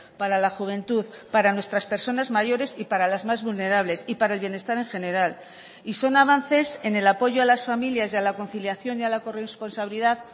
para la juventud para nuestras personas mayores y para las más vulnerables y para el bienestar en general y son avances en el apoyo a las familias y a la conciliación y a la corresponsabilidad